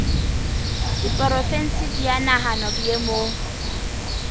diporofensi di a nahanwa boemong